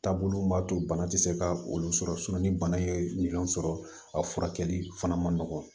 Taabolo min b'a to bana tɛ se ka olu sɔrɔ ni bana ye minɛnw sɔrɔ a furakɛli fana ma nɔgɔ